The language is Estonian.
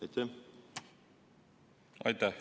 Aitäh!